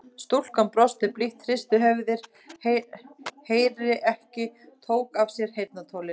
Stúlkan brosti blítt, hristi höfuðið, heyri ekki, tók af sér heyrnartólin.